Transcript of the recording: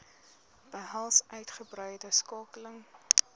behels uitgebreide skakeling